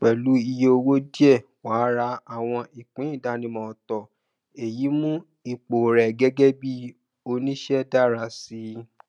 pẹlú iye owó díẹ wàá ra àwọn ìpín ìdánimọ òtó èyí mú ipò rẹ gẹgẹ bí onísẹ dára sí i